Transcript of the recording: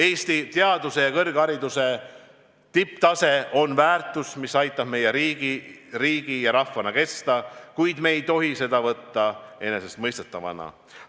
Eesti teaduse ja kõrghariduse tipptase on väärtus, mis aitab meil riigi ja rahvana kesta, kuid me ei tohi seda võtta enesestmõistetavana.